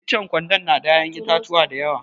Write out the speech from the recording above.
Ichen gwandan na da ya'yan itatuwa dayawa.